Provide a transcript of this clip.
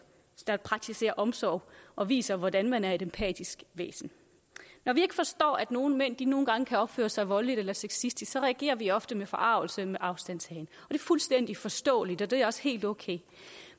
der praktiserer omsorg og viser hvordan man er et empatisk væsen når vi ikke forstår at nogle mænd nogle gange kan opføre sig voldeligt eller sexistisk så reagerer vi ofte med forargelse og med afstandtagen er fuldstændig forståeligt og det er også helt okay